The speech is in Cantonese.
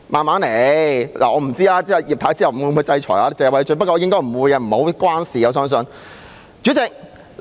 我不知繼葉太之後，會否制裁謝偉俊議員，不過我相信應該不會。